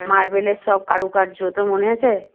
মার্বেলের সব কারুকার্য তোর মনে আছে?